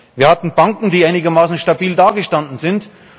Wir hatten Banken, die einigermaßen stabil dagestanden sind.